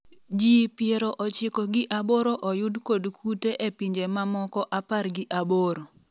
jii piero ochiko gi aboro oyud kod kute e pinje mamoko apar gi aboro